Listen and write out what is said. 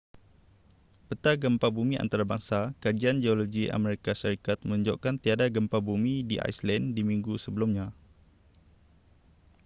peta gempa bumi antarbangsa kajian geologi amerika syarikat menunjukkan tiada gempa bumi di iceland di minggu sebelumnya